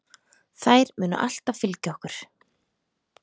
Þær munu alltaf fylgja okkur.